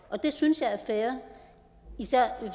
og det synes jeg er fair især i